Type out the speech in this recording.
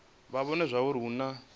vha vhone zwauri hu na